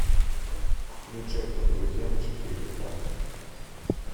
включай по друзьям четыре к